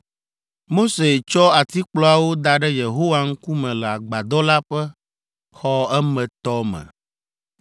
Mose tsɔ atikplɔawo da ɖe Yehowa ŋkume le agbadɔ la ƒe xɔ emetɔ me.